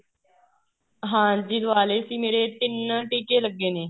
ਹਾਂਜੀ ਲਵਾ ਲਏ ਸੀ ਮੇਰੇ ਤਿੰਨ ਟੀਕੇ ਲੱਗੇ ਨੇ